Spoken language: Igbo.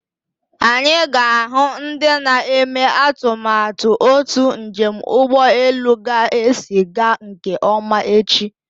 Anyị ga-ahụ ndị na-eme atụmatụ otu njem ụgbọelu ga-esi aga nke ọma echi.